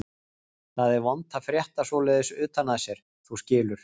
Það er vont að frétta svoleiðis utan að sér, þú skilur.